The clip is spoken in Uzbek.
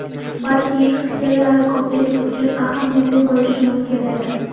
Balki, fikrlari ko‘pchilik uchun ahamiyatli bo‘lishi mumkin edi.